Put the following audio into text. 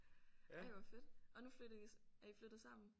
Ej hvor fedt og nu flytter I er I flyttet sammen